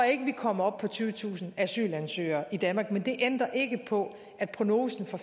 ikke vi kommer op på tyvetusind asylansøgere i danmark men det ændrer ikke på at prognosen for